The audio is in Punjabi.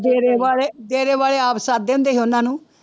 ਡੇਰੇ ਵਾਲੇ ਡੇਰੇ ਵਾਲੇ ਆਪ ਸੱਦਦੇ ਹੁੰਦੇ ਸੀ ਉਹਨਾਂ ਨੂੰ।